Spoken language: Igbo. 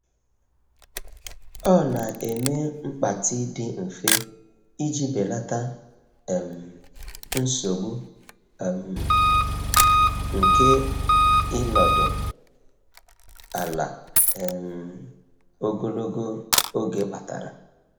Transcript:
Ọ na-eme mgbatị dị mfe iji belata um nsogbu um nke ịnọdụ ala um ogologo oge kpatara.